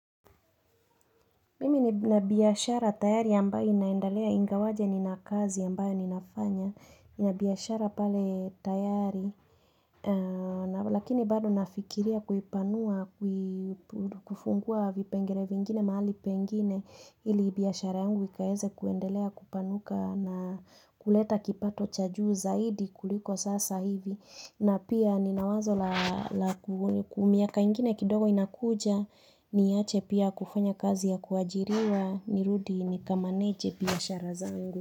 Mimi nina biashara tayari ambayo inaendalea ingawaje ni na kazi ambayo ninafanya. Nina biashara pale tayari, lakini bado nafikiria kuipanua, kufungua vipengele vingine, mahali pengine. Ili biashara yangu ikaweze kuendelea kupanuka na kuleta kipato chajuu zaidi kuliko sasa hivi. Na pia ninawazo la ku miaka ingine kidogo inakuja niache pia kufanya kazi ya kuajiriwa ni rudi ni kamanage biashara zangu.